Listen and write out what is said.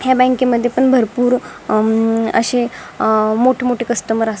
या बँके मध्ये पण भरपूर अं अशे मोठे मोठे कस्टमर अस --